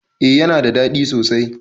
A yana da ɗadi sosai